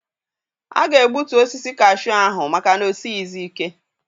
A ga-egbutu osisi kashuu ahụ maka na o sighịzi ike.